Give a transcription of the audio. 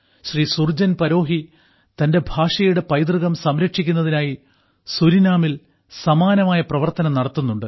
ശ്രീ സുർജൻ പരോഹി തന്റെ ഭാഷയുടെ പൈതൃകം സംരക്ഷിക്കുന്നതിനായി സുരിനാമിൽ സമാനമായ പ്രവർത്തനം നടത്തുന്നുണ്ട്